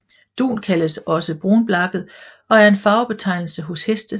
Dun kaldes også brunblakket og er en farvebetegnelse hos heste